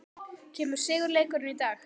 Kemur sigurleikurinn í dag?